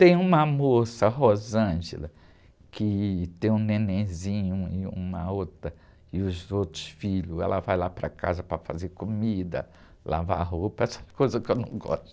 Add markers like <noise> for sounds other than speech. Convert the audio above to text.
Tem uma moça, <unintelligible> que tem um nenenzinho e uma outra, e os outros filhos, ela vai lá para casa para fazer comida, lavar roupa, essas coisas que eu não gosto.